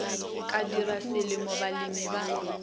ka tirwa selemo balemi ba